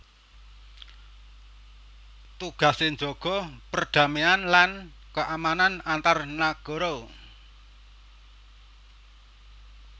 Tugasé njaga perdamaian lan keamanan antar nagara